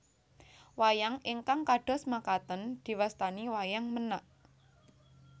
Wayang ingkang kados makaten diwastani Wayang Menak